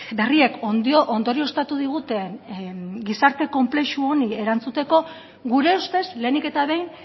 berriek ondorioztatu diguten gizarte konplexu honi erantzuteko gure ustez lehenik eta behin